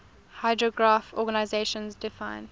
hydrographic organization defines